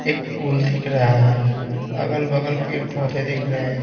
एक पूल दिख रहा है अगल बगल पेड़ पौधे दिख रहे हैं।